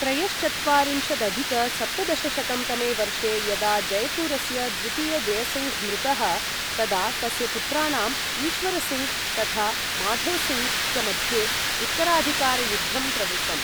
त्रयश्चत्वारिंशदधिक सप्तदशशतं तमे वर्षे यदा जैपुरस्य द्वितीय जयसिङ्घ् मृतः, तदा तस्य पुत्राणां ईश्वरीसिङ्घ् तथा माधोसिङ्घ् च मध्ये उत्तराधिकारयुद्धम् प्रवृत्तम्।